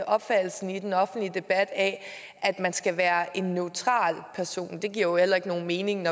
opfattelse i den offentlige debat at man skal være en neutral person og det giver jo ikke nogen mening